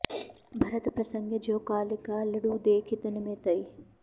भरत प्रसँग ज्यों कालिका लडू देखि तन में तई